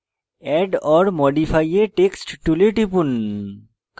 add or modify a text tool টিপুন